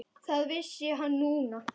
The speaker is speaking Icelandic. Það vissi hann núna.